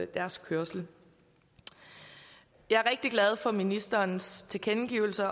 deres kørsel jeg er rigtig glad for ministerens tilkendegivelse af